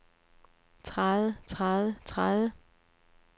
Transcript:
træde træde træde